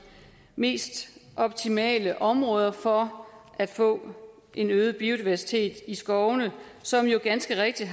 mest optimale områder for at få en øget biodiversitet i skovene som jo ganske rigtigt